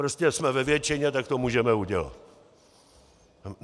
Prostě jsme ve většině, tak to můžeme udělat.